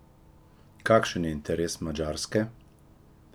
Kakšen je interes Madžarske?